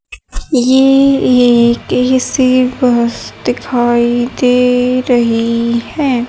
ये एक AC bus दिखाई दे रही है।